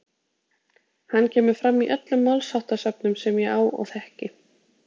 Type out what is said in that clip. Hann kemur fram í öllum málsháttasöfnum sem ég á og þekki.